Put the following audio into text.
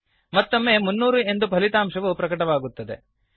ಮತ್ತೊಮ್ಮೆ 300 ಎಂದು ಫಲಿತಾಂಶವು ಪ್ರಕಟವಾಗುತ್ತದೆ